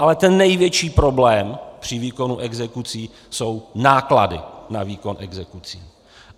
Ale ten největší problém při výkonu exekucí jsou náklady na výkon exekucí.